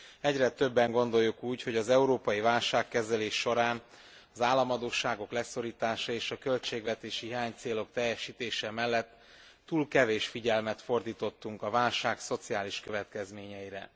Egyre többen gondoljuk úgy, hogy az európai válságkezelés során az államadósságok leszorítása és a költségvetési hiánycélok teljesítése mellett túl kevés figyelmet fordítottunk a válság szociális következményeire.